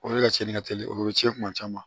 O de ka cɛnni ka teli o bɛ cɛn tuma caman